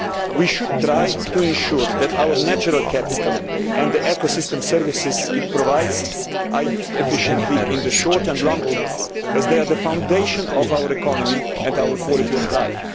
We should try to ensure that our natural capital and the ecosystem services this provides are used efficiently in the short and long term, as they are the foundation of our economy and our quality of life.